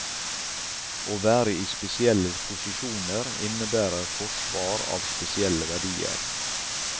Å være i spesielle posisjoner innebærer forsvar av spesielle verdier.